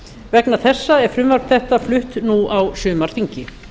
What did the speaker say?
vegna þessa er frumvarp þetta flutt nú á sumarþingi